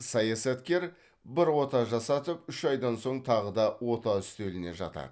саясаткер бір ота жасатып үш айдан соң тағы да ота үстеліне жатады